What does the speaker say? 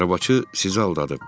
Arabacı sizi aldadıb.